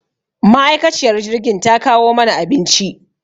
Ma'aikaciyar jirgin ta kawo mana abinci.